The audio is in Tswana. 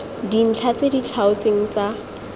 dintlha tse di tlhaotsweng tsa